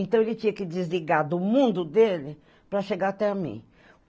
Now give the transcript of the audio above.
Então, ele tinha que desligar do mundo dele para chegar até a mim.